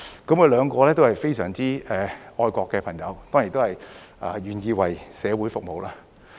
他們兩位都是非常愛國的朋友，當然都願意為社會服務。